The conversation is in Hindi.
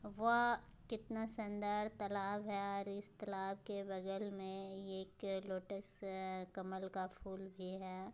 व कितना सुंदर तालाब है और इस तालाब के बगल में ये एक लोटस कमल का फूल भी है।